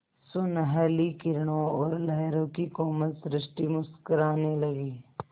सुनहली किरणों और लहरों की कोमल सृष्टि मुस्कराने लगी